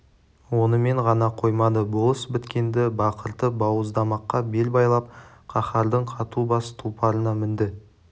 онымен ғана қоймады болыс біткенді бақыртып бауыздамаққа бел байлап қаһардың қату бас тұлпарына мінді